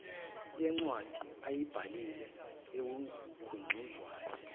yencwadi ayibhalile ekugunyazayo